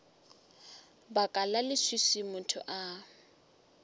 baka la leswiswi motho a